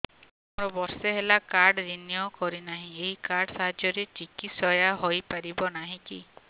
ମୋର ବର୍ଷେ ହେଲା କାର୍ଡ ରିନିଓ କରିନାହିଁ ଏହି କାର୍ଡ ସାହାଯ୍ୟରେ ଚିକିସୟା ହୈ ପାରିବନାହିଁ କି